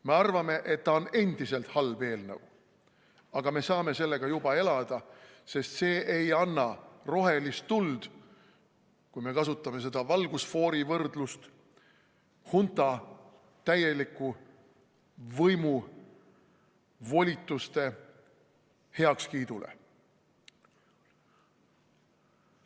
Me arvame, et see on endiselt halb eelnõu, aga me saame sellega juba elada, sest see ei anna rohelist tuld, kui me kasutame seda valgusfoorivõrdlust, hunta täieliku võimu volituste heakskiidule.